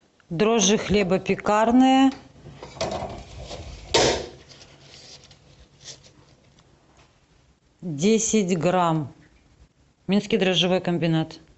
дрожжи хлебопекарные десять грамм минский дрожжевой комбинат